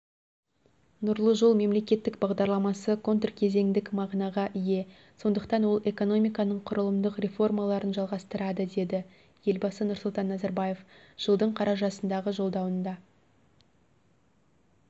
нұрлы жол мемлекеттік бағдарламасы контркезеңдік мағынаға ие сондықтан ол экономиканың құрылымдық реформаларын жалғастырады деді елбасы нұрсұлтан назарбаев жылдың қарашасындағы жолдауында